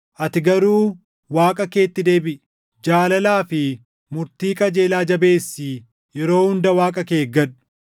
Ati garuu Waaqa keetti deebiʼi; jaalalaa fi murtii qajeelaa jabeessii yeroo hunda Waaqa kee eeggadhu.